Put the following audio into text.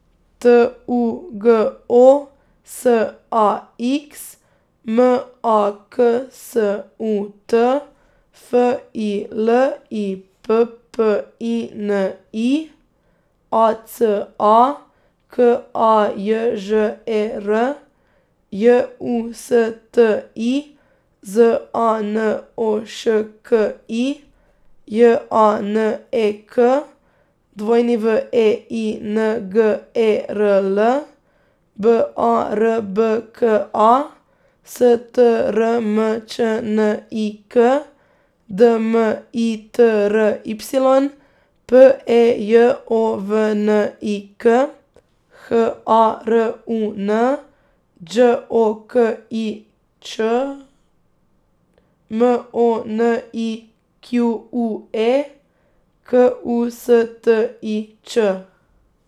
T U G O, S A X; M A K S U T, F I L I P P I N I; A C A, K A J Ž E R; J U S T I, Z A N O Š K I; J A N E K, W E I N G E R L; B A R B K A, S T R M Č N I K; D M I T R Y, P E J O V N I K; H A R U N, Đ O K I Ć; M O N I Q U E, K U S T I Ć.